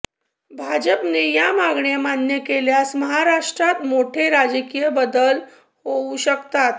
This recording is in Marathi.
भाजपने या मागण्या मान्य केल्यास महाराष्ट्रात मोठे राजकीय बदल होऊ शकतात